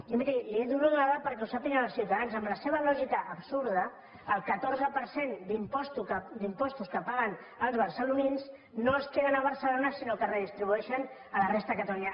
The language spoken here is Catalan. i miri li dono una dada perquè ho sàpiguen els ciutadans amb la seva lògica absurda el catorze per cent d’impostos que paguen els barcelonins no es queden a barcelona sinó que es redistribueixen a la resta de catalunya